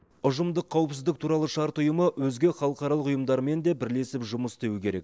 ұжымдық қауіпсіздік туралы шарт ұйымы өзге халықаралық ұйымдармен де бірлесіп жұмыс істеуі керек